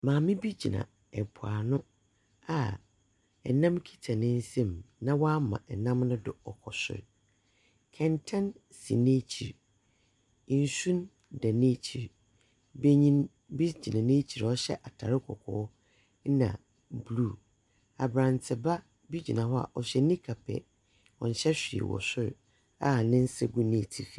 Maame bi gyina ɛpo ano. Ɛnam kita ne nsɛm, na wama ɛnam no do ɔkɔ soro. Kɛntɛn si nakyiri. Nsu da na kyiri. Bɛnyin bi gyina nakyiri a ɔhyɛ ataade kɔkɔɔ na bluu. Abranteba bi gyina hɔ a ɔhyɛ nika pɛ. Ɔnhyɛ hwee wɔ soro a ne nsa gu n'atifi.